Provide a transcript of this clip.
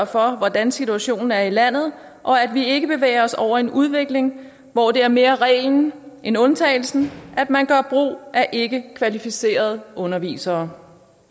for hvordan situationen er i landet og at vi ikke bevæger os over i en udvikling hvor det mere er reglen end undtagelsen at man gør brug af ikkekvalificerede undervisere